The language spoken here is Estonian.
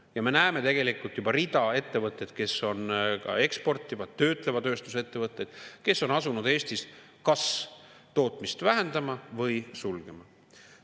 " Ja me näeme tegelikult juba tervet hulka ettevõtteid, kes on ka eksportivad, töötleva tööstuse ettevõtted, kes on asunud Eestis kas tootmist vähendama või sulguma.